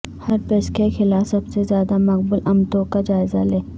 herpes کے خلاف سب سے زیادہ مقبول امتوں کا جائزہ لیں